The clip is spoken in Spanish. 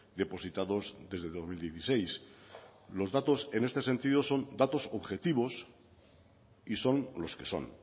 depositados desde dos mil dieciséis los datos en este sentido son datos objetivos y son los que son